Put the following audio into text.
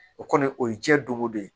O kɔni o ye diɲɛ don o don